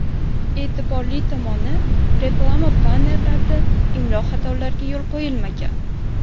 E’tiborli tomoni, reklama bannerlarida imlo xatolariga yo‘l qo‘yilmagan.